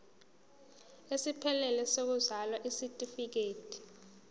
esiphelele sokuzalwa isitifikedi